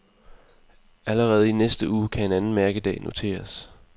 Allerede i næste uge kan en anden mærkedag noteres.